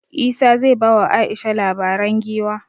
Isah zai ba wa Aisha labaren giwa